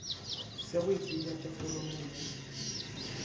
sa go ipelaetša foramong ya